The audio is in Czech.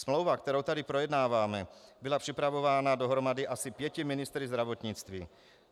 Smlouva, kterou tady projednáváme, byla připravována dohromady asi pěti ministry zdravotnictví.